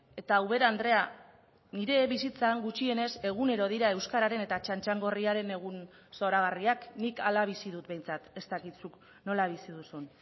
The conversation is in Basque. eta ubera andrea nire bizitzan gutxienez egunero dira euskararen eta txantxangorriaren egun zoragarriak nik hala bizi dut behintzat ez dakit zuk nola bizi duzun